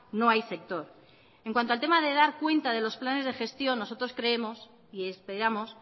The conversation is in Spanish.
no hay sector en cuanto al tema de dar cuenta de los planes de gestión nosotros creemos y esperamos